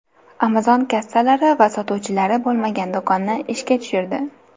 Amazon kassalari va sotuvchilari bo‘lmagan do‘konni ishga tushirdi.